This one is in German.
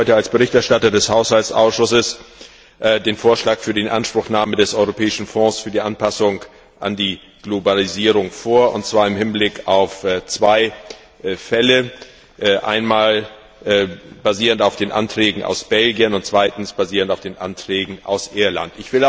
Ich lege Ihnen heute als Berichterstatter des Haushaltsausschusses den Vorschlag für die Inanspruchnahme des Europäischen Fonds für die Anpassung an die Globalisierung vor, und zwar im Hinblick auf zwei Fälle, einmal basierend auf den Anträgen aus Belgien und zweitens basierend auf den Anträgen aus Irland.